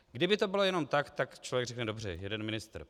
Kdyby to bylo jen tak, tak člověk řekne dobře, jeden ministr.